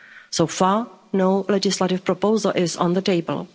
So far no legislative proposal is on the table.